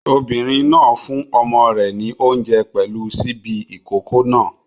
Obìnrin náà fún ọmọ rẹ̀ ní oúnjẹ pẹ̀lú ṣíbí ìkókó náà.